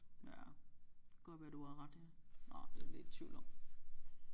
Ja godt være du har ret ja nåh det er jeg lidt i tvivl om